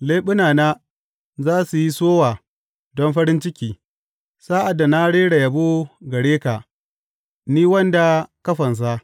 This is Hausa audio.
Leɓunana za su yi sowa don farin ciki sa’ad da na rera yabo gare ka, ni, wanda ka fansa.